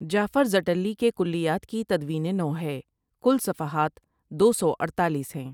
جعفر زٹلی کے کلیات کی تدوینِ نَو ہے کل صفحات دو سو اڈتالیس ہیں ۔